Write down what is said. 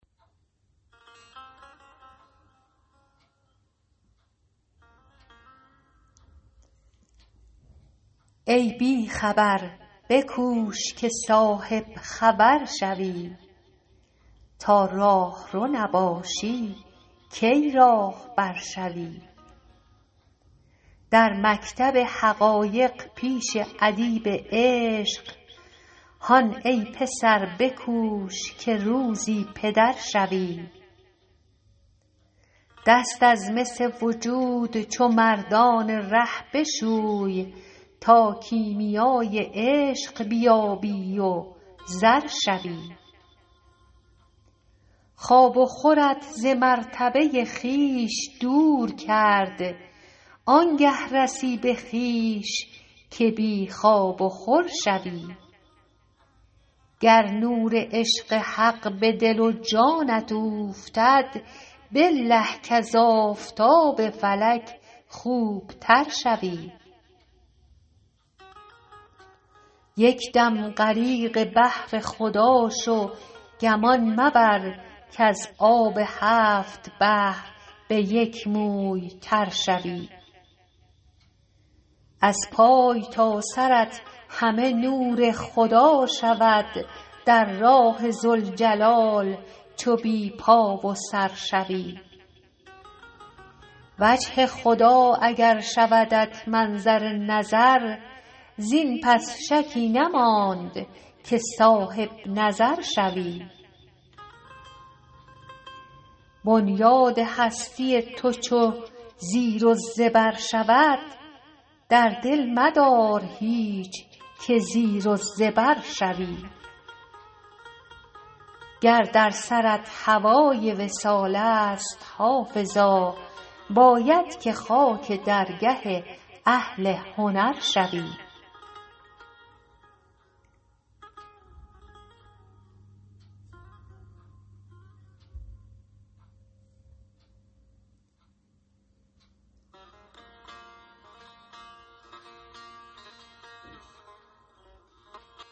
ای بی خبر بکوش که صاحب خبر شوی تا راهرو نباشی کی راهبر شوی در مکتب حقایق پیش ادیب عشق هان ای پسر بکوش که روزی پدر شوی دست از مس وجود چو مردان ره بشوی تا کیمیای عشق بیابی و زر شوی خواب و خورت ز مرتبه خویش دور کرد آن گه رسی به خویش که بی خواب و خور شوی گر نور عشق حق به دل و جانت اوفتد بالله کز آفتاب فلک خوب تر شوی یک دم غریق بحر خدا شو گمان مبر کز آب هفت بحر به یک موی تر شوی از پای تا سرت همه نور خدا شود در راه ذوالجلال چو بی پا و سر شوی وجه خدا اگر شودت منظر نظر زین پس شکی نماند که صاحب نظر شوی بنیاد هستی تو چو زیر و زبر شود در دل مدار هیچ که زیر و زبر شوی گر در سرت هوای وصال است حافظا باید که خاک درگه اهل هنر شوی